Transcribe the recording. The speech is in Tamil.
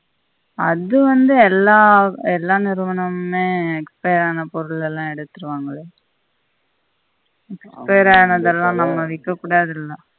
அது வந்து எல்லா எல்லா நிறுவனமுமே expired ஆன பொருளெல்லாம் எடுத்திடுவாங்கலே expired ஆனதெல்லாம் நம்ம விக்கக்கூடாது இல்ல